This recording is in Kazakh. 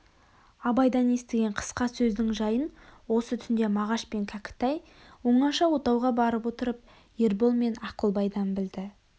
абайдан естіген қысқа сөздің жайын осы түнде мағаш пен кәкітай оңаша отауға барып отырып ербол мен ақылбайдан білді